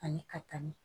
Ani ka ni